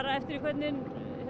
eftir því hvernig